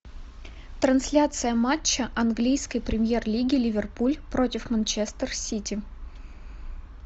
трансляция матча английской премьер лиги ливерпуль против манчестер сити